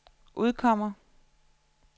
udkommer